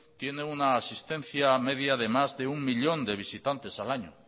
tiene una asistencia media de más de uno millón de visitantes al año